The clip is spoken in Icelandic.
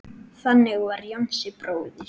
Þannig var Jónsi bróðir.